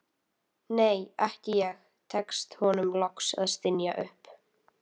nei, ekki ég, tekst honum loks að stynja upp.